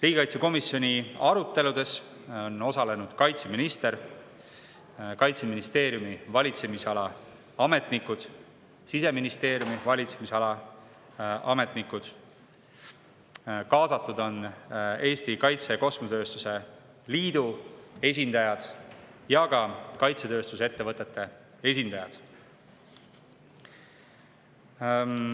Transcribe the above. Riigikaitsekomisjoni aruteludes on osalenud kaitseminister, Kaitseministeeriumi valitsemisala ametnikud, Siseministeeriumi valitsemisala ametnikud ning kaasatud on olnud Eesti Kaitse- ja Kosmosetööstuse Liidu esindajad ning kaitsetööstuse ettevõtete esindajad.